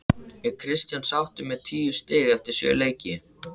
Er Kristján sáttur með tíu stig eftir sjö leiki?